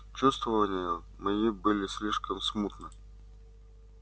чувствования мои были слишком смутны